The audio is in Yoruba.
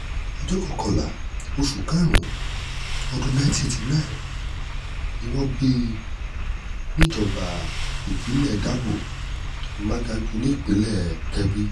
ọjọ́ kọkànlá oṣù karùn-ún ọdún 1989 ni wọ́n bíi níjọba ìbílẹ̀ dáko wàdàgù nípínlẹ̀ kebbi